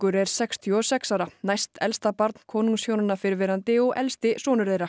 er sextíu og sex ára næst elsta barn konungshjónanna fyrrverandi og elsti sonur þeirra